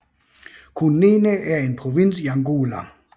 Cunene er en provins i Angola